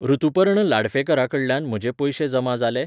ऋतुपर्ण लाडफेकराकडल्यान म्हजे पयशे जमा जाले?